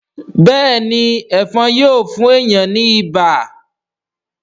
béèni Ẹ̀fọ̀n Yíò fún èyán ní ibà.